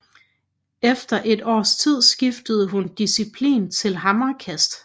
Efter et års tid skiftede hun disciplin til hammerkast